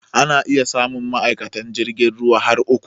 Ana iya samun ma'aikatan jirgin ruwa har uku.